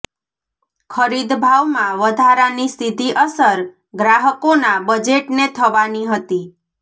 ખરીદ ભાવમાં વધારાની સીધી અસર ગ્રાહકોના બજેટને થવાની હતી